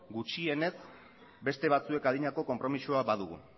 gutxienez beste batzuek adinako konpromisoa badugu